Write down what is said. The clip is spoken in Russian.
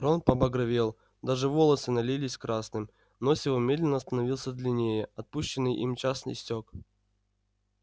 рон побагровел даже волосы налились красным нос его медленно становился длиннее отпущенный им час истёк